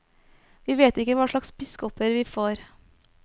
Vi vet ikke hva slags biskoper vi får.